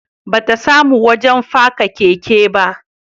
Ba ta samu wajen faka keke ba